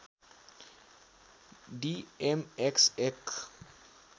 डि M X एक